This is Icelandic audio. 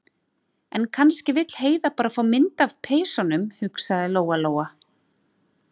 En kannski vill Heiða bara fá mynd af peysunum, hugsaði Lóa- Lóa.